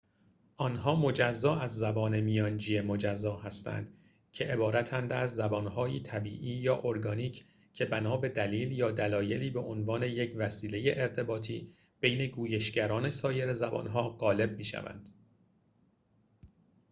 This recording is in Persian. آنها مجزا از زبان میانجی مجزا هستند که عبارتند از زبان‌هایی طبیعی یا ارگانیک که بنا به دلیل یا دلایلی به عنوان یک وسیله ارتباطی بین گویشگران سایر زبانها غالب می‌شوند